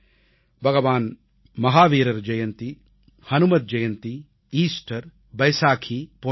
பகவான் மஹாவீரர் ஜெயந்தி அனுமன் ஜெயந்தி ஈஸ்டர் பைசாகீ போன்றன